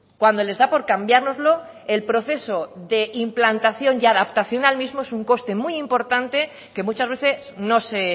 cuando les da por cambiárnoslo el proceso de implantación y adaptación al mismo es un coste muy importante que muchas veces no se